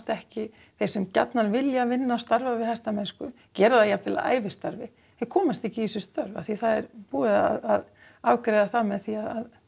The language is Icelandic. ekki þeir sem gjarnan vilja starfa við hestamennsku og gera það jafnvel að ævistarfi þeir komast ekki í þessi störf því það er búið að afgreiða það með því að